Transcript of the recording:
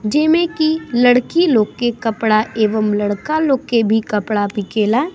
जे में की लड़की लोग के कपड़ा एवं लड़का लोग के भी कपड़ा बिकेला |